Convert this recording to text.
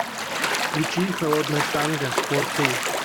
включи холодное танго фор кей